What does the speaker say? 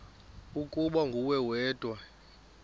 ukuba nguwe wedwa